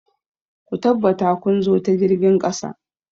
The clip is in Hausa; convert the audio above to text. Ku tabbata kun zo ta jirgin ƙasa!